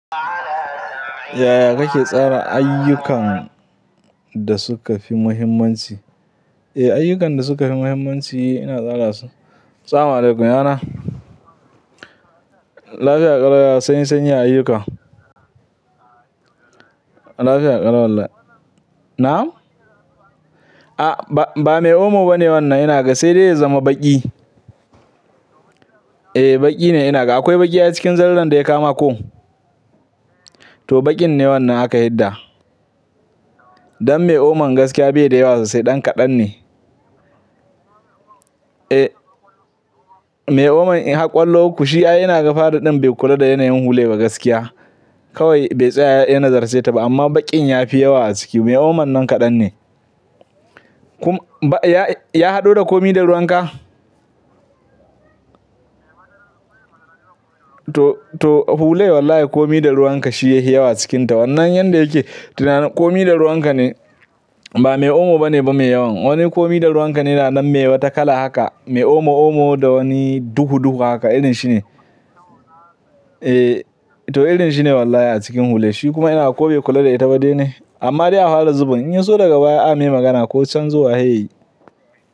Yaya kake tsara ayyukan da suka fi muhimmanci? Eh, ayyukan da suka fi muhimmanci ina tsara su. Sama alaikum yana. Lafiya ƙalau, ya sanyi, sanyi ya ayyuka. Lafiya ƙalau wallah. Na'am? A ba, ba mai omo bane wannan ina ga, sai dai ya zama baƙi. Eh, baƙi ne ina ga. Akwai baƙi a cikin zariran da ya kawo ma ko? To baƙin ne wannan aka hidda. Dan mai oman gaskiya bai da yawa sosai, ɗan kaɗan ne. Eh, mai oman in har ƙollo ukku shi ai ina ga fari ɗin bai kula da yanayin hular ba gaskiya. Kawai bai tsaya yana zarcheta ba amma baƙin ya fi yawa a ciki. Mai oman nan kaɗan ne. Kum ba ya, ya haɗu da komi da ruwanka? To, to hulai wallahi komi da ruwanka shi yahi yawa a cikinta. Wannan yanda yake tunani komi da ruwanka ne. Ba mai omo bane ba mai yawan. Wani komi da ruwanka ne da nan mai wata kala haka. Mai omo omo da wani duhu duhu haka irin shi ne. Eh, to irin shi ne wallahi a cikin hulai. Shi kuma ina ga ko bai kula da ita ba dai ne? Amma dai a hwara zubin in ya so daga baya a yi magana ko can zuwa yayi.